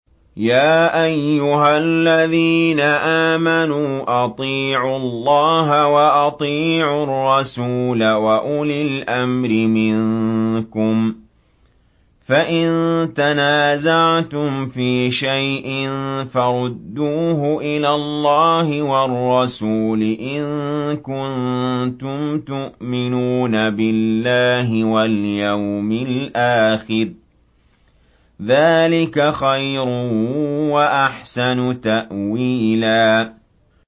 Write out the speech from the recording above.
يَا أَيُّهَا الَّذِينَ آمَنُوا أَطِيعُوا اللَّهَ وَأَطِيعُوا الرَّسُولَ وَأُولِي الْأَمْرِ مِنكُمْ ۖ فَإِن تَنَازَعْتُمْ فِي شَيْءٍ فَرُدُّوهُ إِلَى اللَّهِ وَالرَّسُولِ إِن كُنتُمْ تُؤْمِنُونَ بِاللَّهِ وَالْيَوْمِ الْآخِرِ ۚ ذَٰلِكَ خَيْرٌ وَأَحْسَنُ تَأْوِيلًا